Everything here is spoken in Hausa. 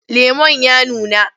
Lemon ya nuna?